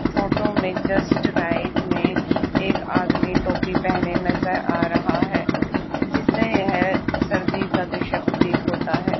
Photo में just right में एक आदमी टोपी पहने नजर आ रहा है जिसे यह सर्दी का दृश्य प्रतीत होता है।